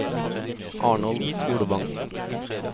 Arnold Solvang